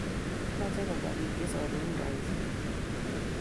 Amiche kopwa pik che same kuraishek